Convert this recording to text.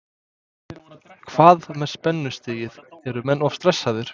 Hvað með spennustigið, eru menn of stressaðir?